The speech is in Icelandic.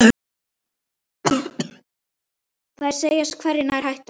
Þær segjast hvergi nærri hættar.